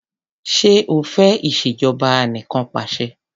Ṣé o fẹ́ ìṣèjọba anìkanpàṣẹ?